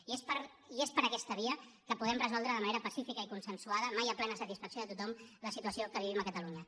i és per aquesta via que podem resoldre de manera pacífica i consensuada mai a plena satisfacció de tothom la situació que vivim a catalunya